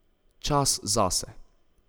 Čas zase.